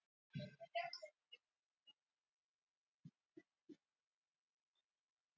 Mjög sárt ef rétt er